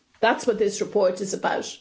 That's what this report is about.